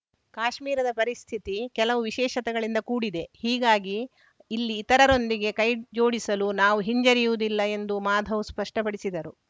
ಕಾಶ್ಮೀರದ ಪರಿಸ್ಥಿತಿ ಕೆಲವು ವಿಶೇಷತೆಗಳಿಂದ ಕೂಡಿದೆ ಹೀಗಾಗಿ ಇಲ್ಲಿ ಇತರರೊಂದಿಗೆ ಕೈಜೋಡಿಸಲು ನಾವು ಹಿಂಜರಿಯುವುದಿಲ್ಲ ಎಂದೂ ಮಾಧವ್‌ ಸ್ಪಷ್ಟಪಡಿಸಿದರು